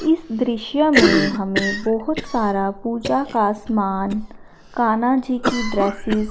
इस दृश्य में हमें बहोत सारा पूजा का समान कान्हा जी की ड्रेसिस --